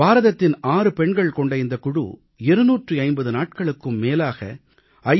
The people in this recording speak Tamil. பாரதத்தின் 6 பெண்கள் கொண்ட இந்தக் குழு 250 நாட்களுக்கும் மேலாக ஐ